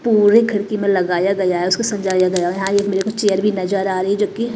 पूरे खिड़की में लगाया गया है उसको सझाया गया है चेयर भी नजर आ रही है जो कि--